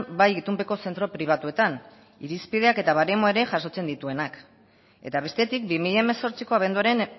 bai itunpeko zentro pribatuetan irizpideak eta baremoa ere jasotzen dituenak eta bestetik bi mila hemezortziko abenduaren